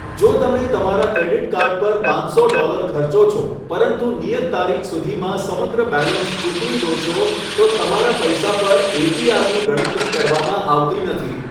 જો તમે તમારા ક્રેડિટ કાર્ડ પર પાંચસો ડોલર ખર્ચો છો પરંતુ નિયત તારીખ સુધીમાં સમગ્ર બેલેન્સ ચૂકવી દો છો, તો તમારા પૈસા પર એપીઆરની ગણતરી કરવામાં આવતી નથી.